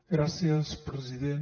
gràcies president